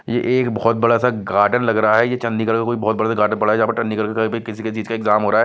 ये एक बहुत बड़ासा गार्डन लग रहा है ये चण्डीगढ़ का बहुत बड़ा सा गार्डन जहाँ पर किसी चीज का एग्जाम हो रहा हैं।